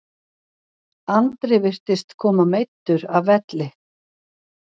Andri virtist koma meiddur af velli?